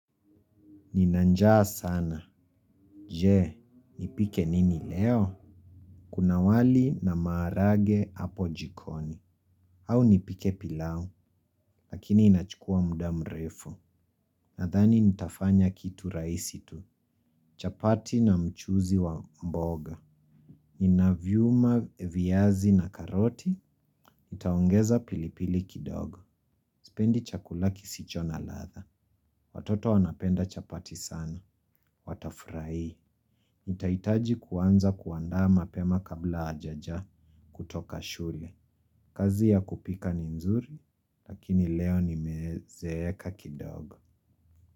Nina njaa sana. Je, nipike nini leo? Kuna wali na maharage hapo jikoni. Au nipike pilau, lakini inachukua muda mrefu. Nadhani nitafanya kitu rahisi tu. Chapati na mchuzi wa mboga. Ninaviuma viazi na karoti. Nitaongeza pilipili kidogo. Sipendi chakula kisicho na ladha. Watoto wanapenda chapati sana. Watafurahi. Nitahitaji kuanza kuandaa mapema kabla hawajaja kutoka shule. Kazi ya kupika ni mzuri, lakini leo nimezeeka kidogo.